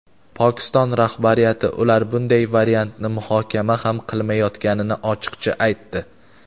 Pokiston rahbariyati ular bunday variantni muhokama ham qilmayotganini ochiqcha aytdi.